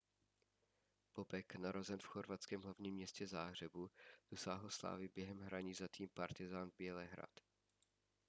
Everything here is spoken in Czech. bobek narozen v chorvatském hlavním městě záhřebu dosáhl slávy během hraní za tým partizan bělehrad